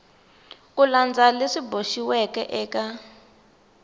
ku landza leswi boxiweke eka